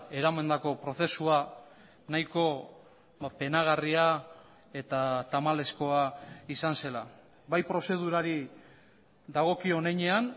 eramandako prozesua nahiko penagarria eta tamalezkoa izan zela bai prozedurari dagokion heinean